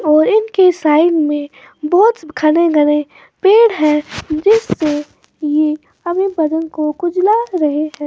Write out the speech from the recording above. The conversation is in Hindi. और इनके साइड में बहुत घने घने पेड़ है जिससे ये अपने बदन को खुजला रहे हैं।